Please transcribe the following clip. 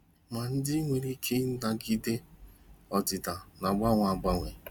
Ma ndị nwere ike ịnagide ọdịda na-agbanwe agbanwe.